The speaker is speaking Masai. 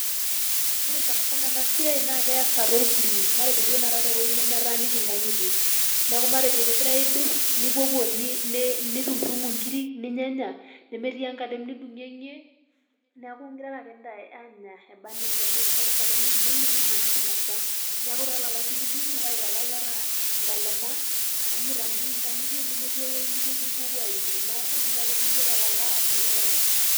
Ore sanasana enasiai, na keasa tolpuli. Matejo duo tanakata ewueji nemetaaniki inkang'itie. Neeku matejo kegirai aidur, nipuopuo nitumutumu nkiri, ninyanya, nemetii enkalem nidung'ieng'ie, neeku girara ake ntae aanya ebanejia amu metii naa enkalem nidung'ieng'ie pitumokiki ainasa. Neeku tolala idung'dung'u, aitaa ilaleta inkalema, amu mitaanikiki nkang'itie nemetii ewuei nijojo ipuopuo aunye. Neeku nya ake duo yie tolala adung'ie lala.